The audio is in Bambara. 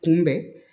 Kunbɛn